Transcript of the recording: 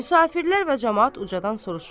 Müsafirlər və camaat ucadan soruşur.